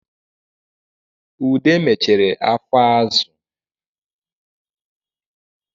Ude mechere afọ azụ